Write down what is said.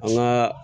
An gaa